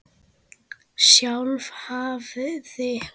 Sjálf hafði